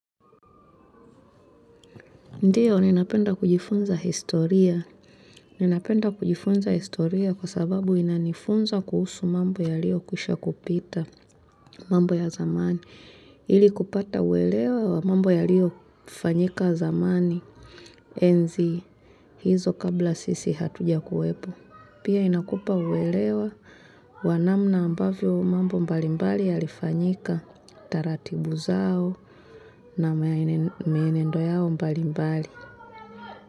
Ndio, ninapenda kujifunza historia. Ninapenda kujifunza historia kwa sababu inanifunza kuhusu mambo yalio kwisha kupita mambo ya zamani. Ili kupata uelewa wa mambo yalio fanyika zamani enzi hizo kabla sisi hatuja kuwepo. Pia inakupa uelewa wa namna ambavyo mambo mbalimbali yalifanyika taratibu zao na mienendo yao mbalimbali.